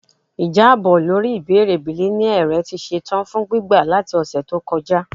Ijabọ lori ibeere bilineal rẹ ti ṣetan fun gbigbe lati ọsẹ to kọja